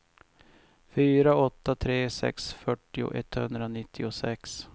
fyra åtta tre sex fyrtio etthundranittiosex